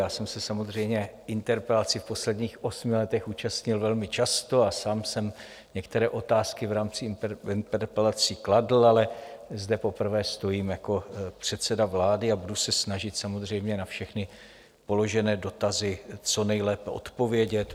Já jsem se samozřejmě interpelací v posledních osmi letech účastnil velmi často a sám jsem některé otázky v rámci interpelací kladl, ale zde poprvé stojím jako předseda vlády a budu se snažit samozřejmě na všechny položené dotazy co nejlépe odpovědět.